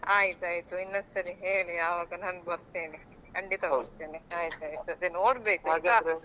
ಆಯ್ತ್ ಆಯ್ತು ಇನ್ನೊಂದ್ ಸಲ ಹೇಳಿ ಆವಾಗ ನಾನ್ ಬರ್ತೇನೆ ಖಂಡಿತಾ ಬರ್ತೇನೆ ಆಯ್ತ್ ಆಯ್ತ್ ಅದೇ ನೋಡ್ಬೇಕು .